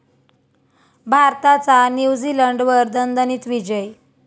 भारताचा न्यूझीलंडवर दणदणीत विजय